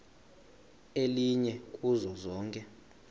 elinye kuzo zonke